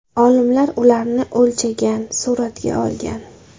Olimlar ularni o‘lchagan, suratga olgan.